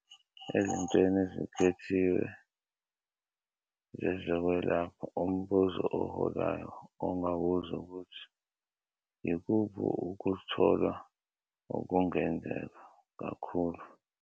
Ezintweni ezikhethiwe zezokwelapha, umbuzo oholayo ongabuza ukuthi "yikuphi ukutholwa okungenzeka kakhulu?"